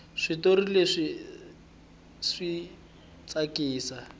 switori leswi aswi tsakisi